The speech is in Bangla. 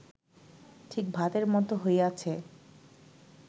ঠিক ভাতের মত হইয়াছে